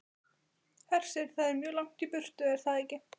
Hersir: Það er mjög langt í burtu, er það ekki?